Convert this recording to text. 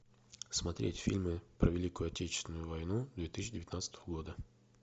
смотреть фильмы про великую отечественную войну две тысячи девятнадцатого года